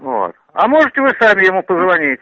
вот а можете вы сами ему позвонить